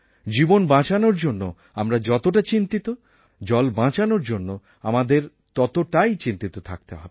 জীবন বাঁচানোর জন্য আমরা যতটা চিন্তিত জল বাঁচানোর জন্য আমাদের ততটাই চিন্তিত থাকতে হবে